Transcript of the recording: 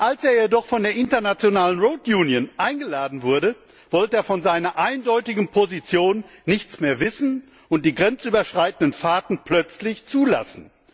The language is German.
Als er jedoch von der International Road Union eingeladen wurde, wollte er von seiner eindeutigen Position nichts mehr wissen und die grenzüberschreitenden Fahrten plötzlich zulassen.